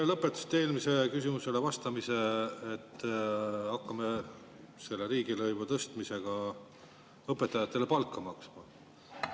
Te lõpetasite eelmisele küsimusele vastamise,, et hakkame selle riigilõivu tõstmisega õpetajatele palka maksma.